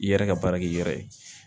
I yɛrɛ ka baara kɛ i yɛrɛ ye